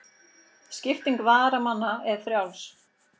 Skipting varamanna er frjáls.